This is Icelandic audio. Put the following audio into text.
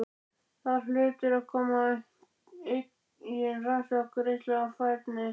Þar hlutu að koma til eigin rannsóknir, reynsla og færni.